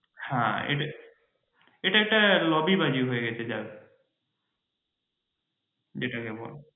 হ্যাঁ এটা একটা lobby বাজী হয়ে গেছে যেটাকে বলে।